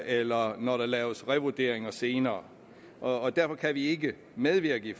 eller når der laves revurderinger senere og derfor kan vi ikke medvirke i